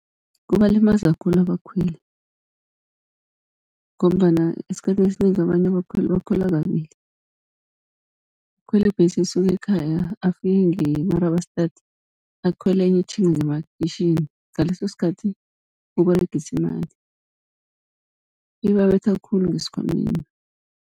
Kubalimaza khulu abakhweli, ngombana esikhathini esinengi abanye abakhweli bakhwela kabili. Ukhwela ibhesi esuka ekhaya afike nge-Marabastad akhwele enye etjhinga ngemakhitjhini, ngaleso sikhathi uberegisa imali. Ibabetha khulu ngesikhwameni.